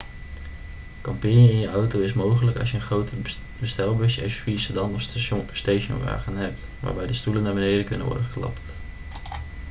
kamperen in je auto is mogelijk als je een groot bestelbusje suv sedan of stationwagen hebt waarbij de stoelen naar beneden kunnen worden geklapt